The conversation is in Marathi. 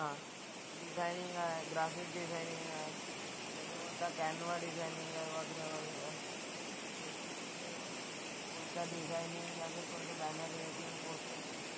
डिझायनिंग आहे, ग्राफिक डिझायनिंग आहे. त्याच्यानंतर डिझायनिंग आहे वगैरा वगैरा. कोणता डिझायनिंग या फिर कोणतं बॅनर मेकिंग, पोस्टर मेकिंग,